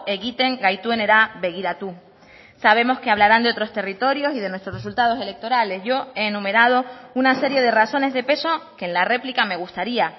egiten gaituenera begiratu sabemos que hablarán de otros territorios y de nuestros resultados electorales yo he enumerado una serie de razones de peso que en la réplica me gustaría